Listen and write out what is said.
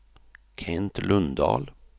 Kent Lundahl